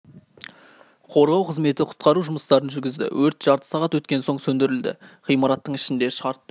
қорғау қызметі құтқару жұмыстарын жүргізді өрт жарты сағат өткен соң сөндірілді ғимараттың ішінде шартты өртті